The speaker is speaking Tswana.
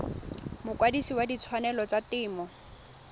mokwadise wa ditshwanelo tsa temo